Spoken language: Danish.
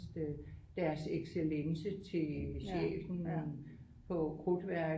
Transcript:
Øh deres excellence til chefen på krudtværket